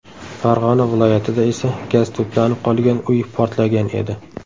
Farg‘ona viloyatida esa gaz to‘planib qolgan uy portlagan edi .